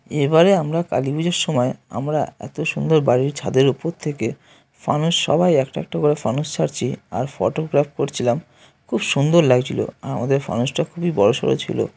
এবারে আমরা কালী পূজার সময় আমরা এত সুন্দর বাড়ির ছাদের উপর থেকে ফানুস সবাই একটা একটা করে ফানুস ছাড়ছি আর ফটোগ্রাফ করছিলাম খুব সুন্দর লাগছিল। আমাদের ফানুসটা খুবই বড়সর ছিল ।